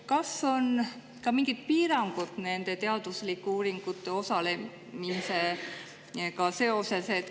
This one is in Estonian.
Kas on ka mingid piirangud seoses teaduslikes uuringutes osalemisega?